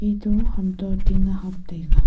etu ham toh ting hap taiga.